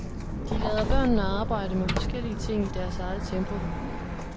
De lader børnene arbejde med forskellige ting i deres eget tempo.